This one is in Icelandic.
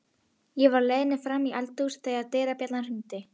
Ég var á leiðinni fram í eldhús þegar dyrabjallan hringdi.